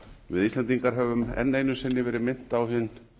við íslendingar höfum enn einu sinni verið minnt á hin